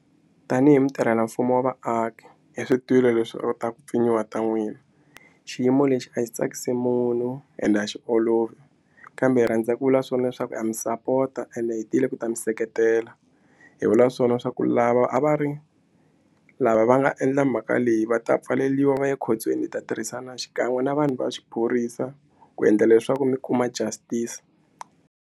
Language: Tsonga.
Tanihi mutirhelamfumo wa vaaki hi swi twile leswi ta ku pfinyiwa ta n'wina xiyimo lexi a xi tsakisi munhu ende a xi olovi kambe hi rhandza ku vula swona leswaku a mi sapota ende hetile ku ta mi seketela tela hi vula swona swa ku lava a va ri lava va nga endla mhaka leyi va ta pfaleriwa va ya ekhotsweni hi ta tirhisana xikan'we na vanhu va xiphorisa ku endla leswaku mi kuma justice.